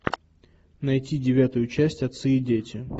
найти девятую часть отцы и дети